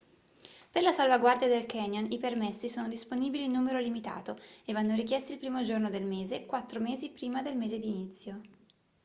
per la salvaguardia del canyon i permessi sono disponibili in numero limitato e vanno richiesti il primo giorno del mese quattro mesi prima del mese di inizio